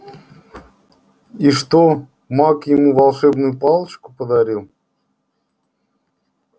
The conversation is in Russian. и что маг ему волшебную палочку подарил